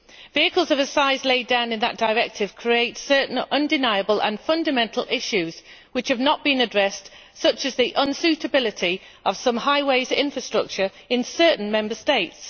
Vehicles of a size laid down in that Directive create certain undeniable and fundamental issues which have not been addressed, such as the unsuitability of some highways infrastructure in certain Member States.